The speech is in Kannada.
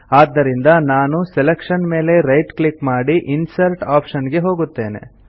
ಆದ್ದರಿಂದ ನಾನು ಸೆಲೆಕ್ಷನ್ ಮೇಲೆ ರೈಟ್ ಕ್ಲಿಕ್ ಮಾಡಿ ಇನ್ಸರ್ಟ್ ಆಪ್ಷನ್ ಗೆ ಹೋಗುತ್ತೇನೆ